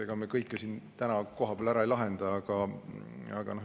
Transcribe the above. Aga tulevikus tuleks teha kahte asja.